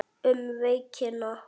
Um veikina